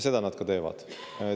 Seda on nad ka teinud ja teevad.